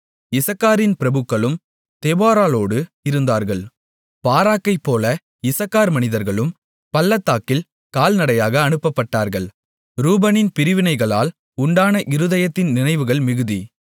இசக்காரின் பிரபுக்களும் தெபொராளோடு இருந்தார்கள் பாராக்கைப்போல இசக்கார் மனிதர்களும் பள்ளத்தாக்கில் கால்நடையாக அனுப்பப்பட்டார்கள் ரூபனின் பிரிவினைகளால் உண்டான இருதயத்தின் நினைவுகள் மிகுதி